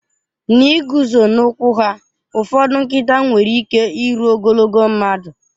N'ịguzo n'ụkwụ ha, ụfọdụ nkịta nwere ike iru ogologo mmadụ.